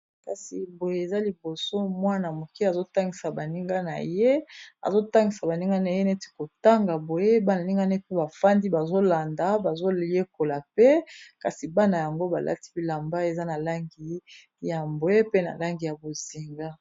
Kasi boye eza liboso mwana moke azotangisa baninga na ye, azotangisa baninga na ye neti kotanga boye bana ninga naye pe bafandi bazolanda bazoyekola pe kasi bana yango balati bilamba eza na langi ya mbwe, pe na langi ya bozinga